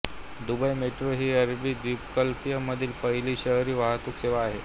Dubai metro ही अरबी द्वीपकल्पामधील पहिली शहरी वाहतूक सेवा आहे